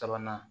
Sabanan